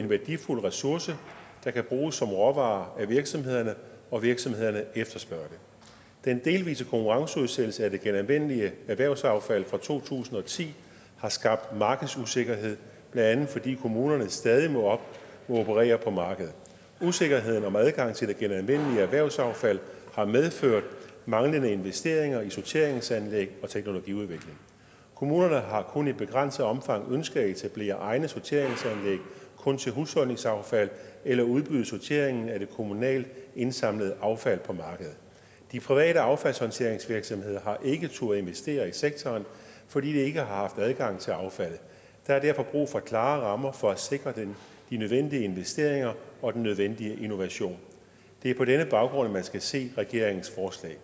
en værdifuld ressource der kan bruges som råvare af virksomhederne og virksomhederne efterspørger det den delvise konkurrenceudsættelse af det genanvendelige erhvervsaffald fra to tusind og ti har skabt markedsusikkerhed blandt andet fordi kommunerne stadig må operere på markedet usikkerheden om adgang til det genanvendelige erhvervsaffald har medført manglende investeringer i sorteringsanlæg og teknologiudvikling kommunerne har kun i begrænset omfang ønsket at etablere egne sorteringsanlæg kun til husholdningsaffald eller udbyde sorteringen af det kommunalt indsamlede affald på markedet de private affaldshåndteringsvirksomheder har ikke turdet investere i sektoren fordi de ikke har haft adgang til affaldet der er derfor brug for klare rammer for at sikre de nødvendige investeringer og den nødvendige innovation det er på denne baggrund man skal se regeringens forslag